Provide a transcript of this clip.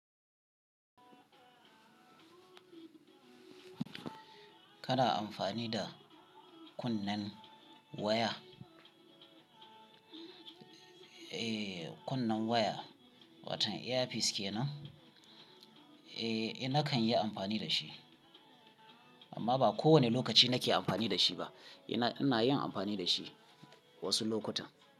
Kana amfani da kunnen waya? Eee kunne waya, watan earpiece kenan? Eee nakan yi amfani da shi, amma ba kowane lokaci nake amfani da shi ba. Ina, ina yin amfani da shi wasu lokutan.